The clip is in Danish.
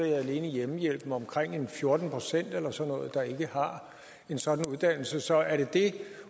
der alene i hjemmehjælpen omkring fjorten procent eller sådan noget der ikke har en sådan uddannelse så er det det